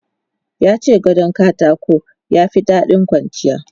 Ya ce gadon katako ya fi daɗin kwanciya.